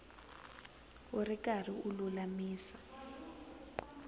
u ri karhi u lulamisa